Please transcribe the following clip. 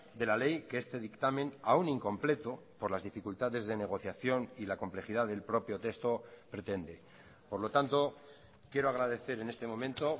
de la ley que este dictamen aún incompleto por las dificultades de negociación y la complejidad del propio texto pretende por lo tanto quiero agradecer en este momento